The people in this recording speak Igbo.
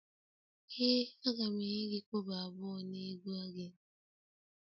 Ee a ga m enye gi kobo abuo n'ego gi